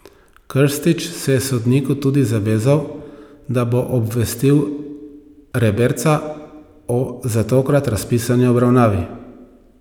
Krstić se je sodniku tudi zavezal, da bo obvestil Reberca o za tokrat razpisani obravnavi.